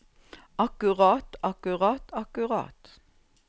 akkurat akkurat akkurat